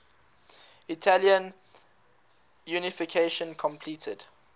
italian unification completed